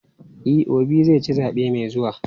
E, Obi zai ci zaɓe mai zuwa.